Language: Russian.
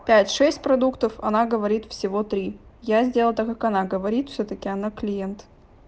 пять шесть продуктов она говорит всего три я сделал так как она говорит всё-таки она клиент